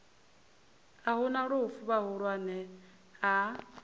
hu na lufu vhahulwane a